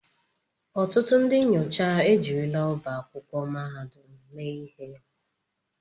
Ọtụtụ ndị nyocha ejirila ọba akwụkwọ mahadum mee ihe.